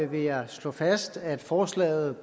vil jeg slå fast at forslaget